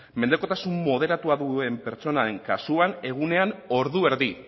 mendekotasun moderatua duen pertsonaren kasuan egunean ordu erdi